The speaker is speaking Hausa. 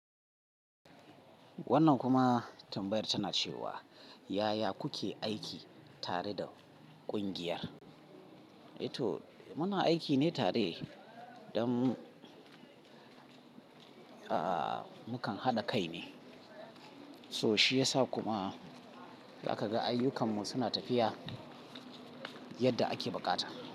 Wannan kuma tambayar tana cewa yaya kuke aiki tare da ƙungiyar? To muna aiki ne tare dam ahh mukan haɗa kai ne, so shi yasa kuma za ka ga ayyukanmu suna tafiya yadda ake buƙata.